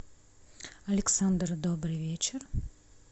александр добрый вечер